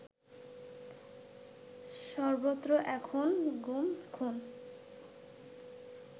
সর্বত্র এখন গুম, খুন